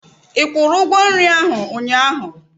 Ị kwụrụ ugwo nri ahụ unyaahu?